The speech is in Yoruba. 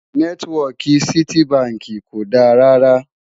nẹtiwọki Citi bánkì kò dá rà rà